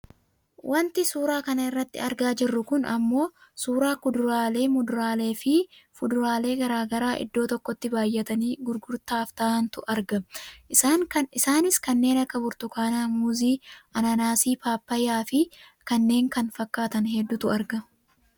Wanti suuraa kanarratti argaa jirru kun ammoo suuraa kuduraalee, muduraalee fi fuduraalee gara garaa iddoo tokkotti baayyatanii gurgurtaaf taa'antu argama. Isaanis kanneen akka burtukaanaa, muuzii, ananaasii, paappayyaafi kannee kana fakkaatan hedduutu argamu